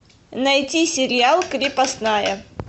найти сериал крепостная